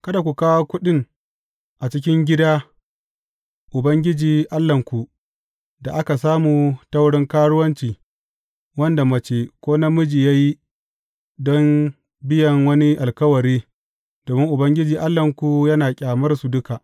Kada ku kawo kuɗin a cikin gida Ubangiji Allahnku da aka samu ta wurin karuwanci wanda mace ko namiji ya yi don biyan wani alkawari, domin Ubangiji Allahnku yana ƙyamar su duka.